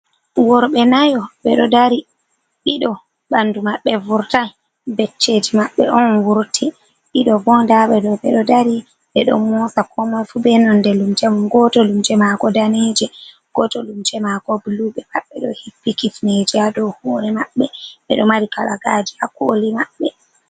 Worɓe nayo ɓeɗodari, ɗiɗo ɓandu maɓɓe furtai becceji maɓɓe on wurti, ɗiɗo bo ndaɓe ɗo ɓeɗo dari ɓeɗo mosa komoi fu benon de lumce mum, goto lumce mako danije, goto lumce mako bulu be maɓɓe ɗo hippi kifneje hadow hore maɓɓe, ɓeɗo mari kalagaji ha koli maɓɓe.